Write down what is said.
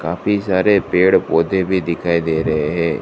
काफी सारे पेड़ पौधे भी दिखाई दे रहे हैं।